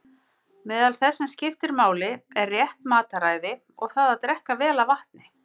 Meðal þess sem skiptir máli er rétt mataræði og það að drekka vel af vatni.